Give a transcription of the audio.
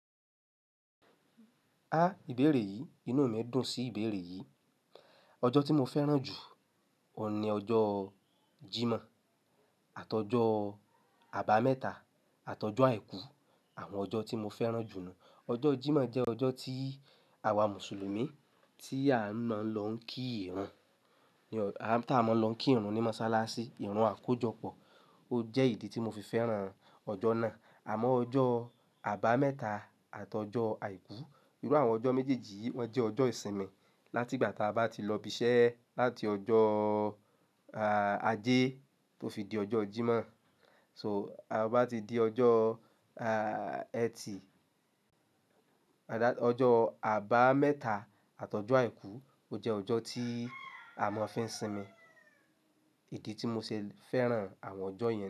Ìbéèrè yìí, inú mi ń dùn sí ìbéèrè yìí. Ọjọ́ tí mo fẹ́ràn jù, òní ọjọ́ Jímọ̀ àtọjọ́ àbámẹ́ta àtọjọ́ àìkú, àwọn ọjọ́ tí mo fẹ́ràn jù nù. Ọjọ́ Jímọ̀ jẹ́ ọjọ́ tí àwa Mùsùlùmí tí a ń máa lọ kí ìrun, tí a máa lọ kí ìrun ní mọ́ṣáláṣí, ìrun àkójọpọ̀. Ó jẹ́ ìdí tí mo fi fẹ́ràn ọjọ́ náà. Àmọ́ ọjọ́ àbámẹ́ta àtọjọ́ àìkú, irú àwọn ọjọ́ méjèèjì yìí wọ́n jẹ́ ọjọ́ ìsinmi. Láti ìgbà tí a bá ti lọ ibiṣẹ́ láti ọjọ́ ajé tó fi di ọjọ́ Jímọ̀, so a bá ti di ọjọ́ eti, ọjọ́ àbámẹ́ta àtọjọ́ àìkú ó jẹ́ ọjọ́ tí à mọ ń fi ń sinmi. Ìdí tí mo ṣe fẹ́ràn àwọn ọjọ́ yẹn.